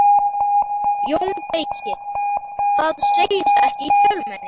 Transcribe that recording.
JÓN BEYKIR: Það segist ekki í fjölmenni.